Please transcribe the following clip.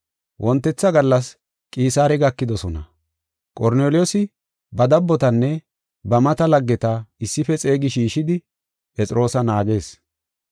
Wontetha gallas, Qisaare gakidosona. Qorneliyoosi ba dabbotanne ba mata laggeta issife xeegi shiishidi, Phexroosa naagees.